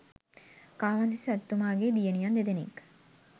කාවන්තිස්ස රජතුමාගේ දියණියන් දෙදෙනෙක්